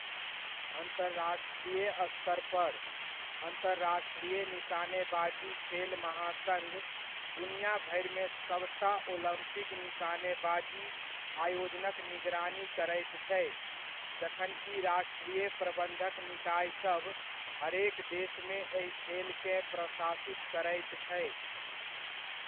अन्तर्राष्ट्रीय स्तर पर, अन्तर्राष्ट्रीय निशानेबाजी खेल महासङ्घ दुनियाभरिमे सभटा ओलम्पिक निशानेबाजी आयोजनक निगरानी करैत छै, जखनकि राष्ट्रीय प्रबन्धक निकायसभ हरेक देशमे एहि खेलकेँ प्रशासित करैत छै।